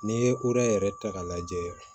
N'i ye koda yɛrɛ ta k'a lajɛ